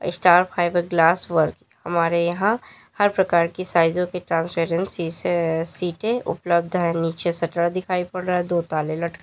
star fibre glass work हमारे यहां हर प्रकार की साइजों के ट्रांसपेरेंट शीशे सीटे उपलब्ध है नीचे शटर दिखाई पड़ रहा है दो ताले लटके--